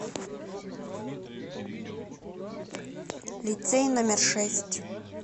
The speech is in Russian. лицей номер шесть